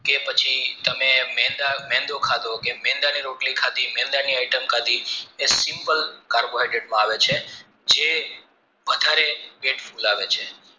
કે પછી તમે મેંદા મેંદો ખાધો મેંદાની રોટલી ખાધી મેંદાની item ખાધી તે simple carbohydrates માં આવે છે જે વધારેપેટ ફુલાવે છે